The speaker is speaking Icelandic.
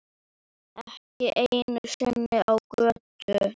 Ekki einu sinni á götu.